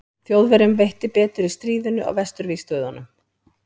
þjóðverjum veitti betur í stríðinu á vesturvígstöðvunum